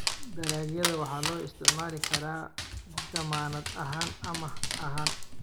Dalagyada waxa loo isticmaali karaa dammaanad ahaan amaah ahaan.